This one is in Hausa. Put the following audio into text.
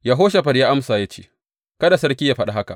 Yehoshafat ya amsa ya ce, Kada sarki yă faɗa haka.